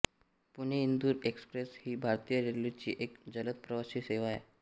Pune Indore express ही भारतीय रेल्वेची एक जलद प्रवासी सेवा आहे